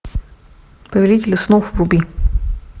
повелители снов вруби